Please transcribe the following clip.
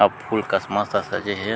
अउ फूल कस मस्त सजे हे।